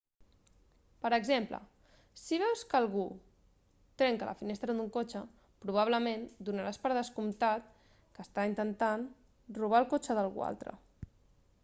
per exemple si veus que algú trenca la finestra d'un cotxe probablement donaràs per descomptat que està intentant robar el cotxe d'algú altre